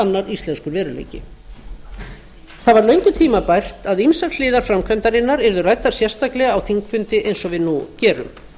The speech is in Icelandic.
annar íslenskur veruleiki það var löngu tímabært að ýmsar hliðar framkvæmdarinnar yrðu ræddar sérstaklega á þingfundi eins og við nú gerum